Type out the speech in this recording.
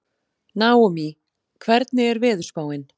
Naómí, hvernig er veðurspáin?